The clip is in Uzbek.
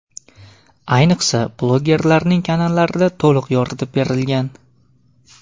Ayniqsa, blogerlarning kanallarida to‘liq yoritib berilgan.